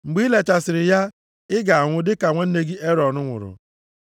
Mgbe i lechasịrị ya, ị ga-anwụ dịka nwanne gị Erọn nwụrụ.